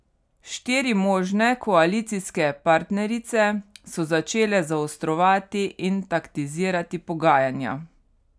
Štiri možne koalicijske partnerice so začele zaostrovati in taktizirati pogajanja.